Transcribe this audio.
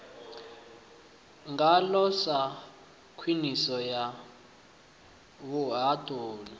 ngaho sa khwiniso ya vhuhaṱuli